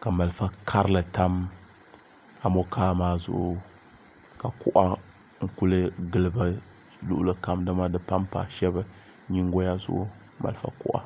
ka malifa karili tam amokaa maa zuɣu ka kuɣa n kuli gili bi luɣuli kam dama di panpa shab nyingoya zuɣu malifa kuɣa